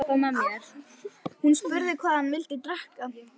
Hún spurði hvað hann vildi drekka.